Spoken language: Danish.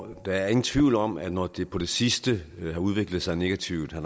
er ingen tvivl om at når det på det sidste har udviklet sig negativt har